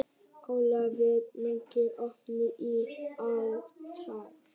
Ólafía, hvað er lengi opið í ÁTVR?